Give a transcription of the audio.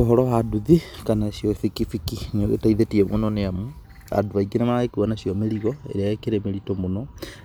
Ũhoro wa nduthi kana nĩcio bikibiki, nĩĩgĩteithĩtie mũno nĩamu andũ aingĩ nĩmarĩgĩkua nacioa mĩrigo ĩrĩa ĩkĩrĩ mĩritũ mũno